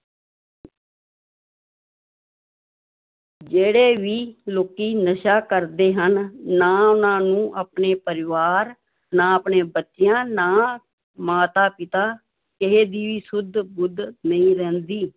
ਜਿਹੜੇ ਵੀ ਲੋਕੀ ਨਸ਼ਾ ਕਰਦੇ ਹਨ, ਨਾ ਉਹਨਾਂ ਨੂੰ ਆਪਣੇ ਪਰਿਵਾਰ, ਨਾ ਆਪਣੇ ਬੱਚਿਆਂ, ਨਾ ਮਾਤਾ ਪਿਤਾ ਕਿਸੇ ਦੀ ਵੀ ਸੁੱਧ ਬੁੱਧ ਨਹੀਂ ਰਹਿੰਦੀ